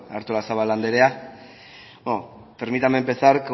artolazabal anderea permítame empezar